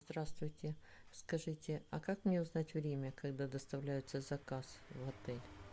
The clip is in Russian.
здравствуйте скажите а как мне узнать время когда доставляется заказ в отель